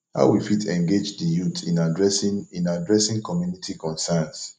how we fit engage di youth in adressing in adressing community concerns